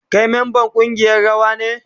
Kai memban kungiyar rawa ne?